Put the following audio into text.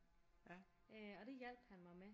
Og det hjalp han mig med